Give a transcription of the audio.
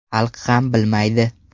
Xalq ham bilmaydi”.